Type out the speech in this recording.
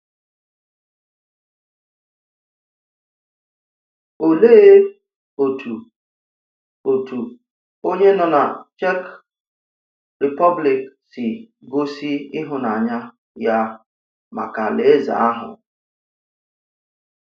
Òlee otu otu onye nọ na Czech Republic si gosi ịhụnanya ya maka Alaeze ahụ?